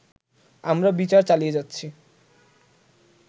আমরা বিচার চালিয়ে যাচ্ছি